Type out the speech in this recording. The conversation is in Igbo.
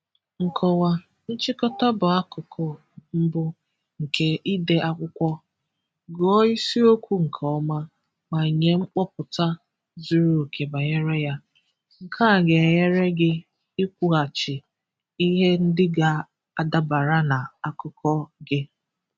Nkọwa: Nchịkọta bụù akụkụ mbu nke ide akwụkwọ. Gụọ ísiíokwu nkè ọma, ma nye nkwupụta zuru oke bànyéré ya. Nke a ga-ènyéré gị ị́kwuaghachì ihe ndị ga-adabara na akụkọ gị.